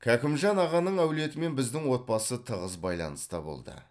кәкімжан ағаның әулетімен біздің отбасы тығыз байланыста болды